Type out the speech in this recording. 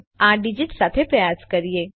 ચાલો આ ડીજીટ સાથે પ્રયાસ કરીએ